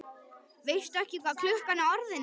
Veistu ekki hvað klukkan er orðin, maður?